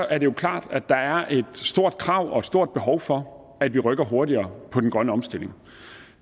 er det jo klart at der er et stort krav og et stort behov for at vi rykker hurtigere på den grønne omstilling